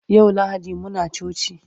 yau lahadi Muna coci